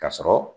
Ka sɔrɔ